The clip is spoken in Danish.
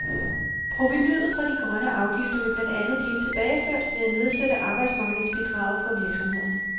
Provenuet fra de grønne afgifter vil blandt andet blive tilbageført ved at nedsætte arbejdsmarkedsbidraget for virksomhederne.